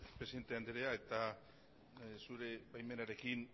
presidente andrea eta zure baimenarekin